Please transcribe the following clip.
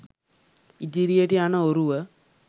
ඉදිරියට යන ඔරුව